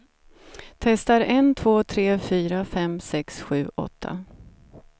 Testar en två tre fyra fem sex sju åtta.